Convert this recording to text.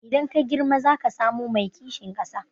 Idan ka girma zaka zamo mai kishin ƙasa?